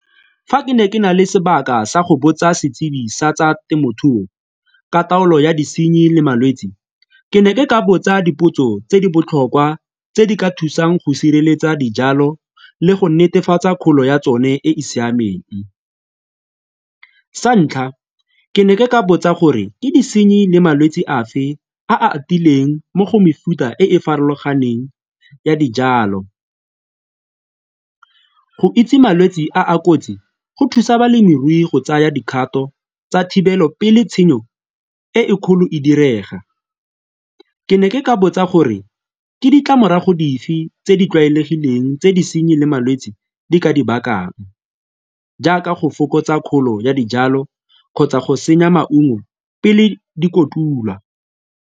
Fa ke ne ke na le sebaka sa go botsa setsibi sa tsa temothuo ka taolo ya disenyi le malwetse, ke ne ke ka botsa dipotso tse di botlhokwa tse di ka thusang go sireletsa dijalo le go netefatsa kgolo ya tsone e e siameng. Sa ntlha, ke ne ke ka botsa gore ke disenyi le malwetse a fe a a atileng mo go mefuta e e farologaneng ya dijalo. Go itse malwetse a a kotsi go thusa balemirui go tsaya dikgato tsa thibelo pele tshenyo e e kgolo e direga, ke ne ke ka botsa gore ke ditlamorago dife tse di tlwaelegileng tse disenyi le malwetse di ka di bakang jaaka go fokotsa kgolo ya dijalo kgotsa go senya maungo pele di kotulwa.